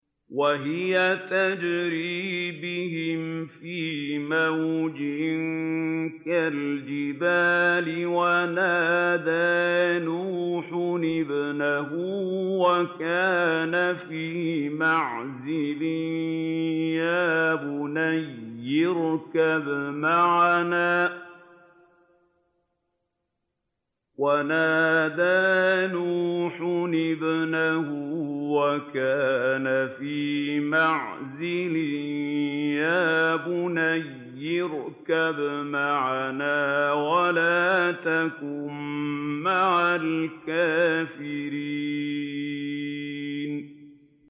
وَهِيَ تَجْرِي بِهِمْ فِي مَوْجٍ كَالْجِبَالِ وَنَادَىٰ نُوحٌ ابْنَهُ وَكَانَ فِي مَعْزِلٍ يَا بُنَيَّ ارْكَب مَّعَنَا وَلَا تَكُن مَّعَ الْكَافِرِينَ